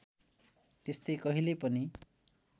त्यस्तै कहिल्यै पनि